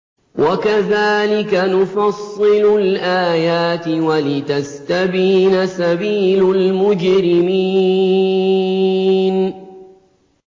وَكَذَٰلِكَ نُفَصِّلُ الْآيَاتِ وَلِتَسْتَبِينَ سَبِيلُ الْمُجْرِمِينَ